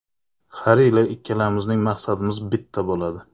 Har yili ikkalamizning maqsadimiz bitta bo‘ladi.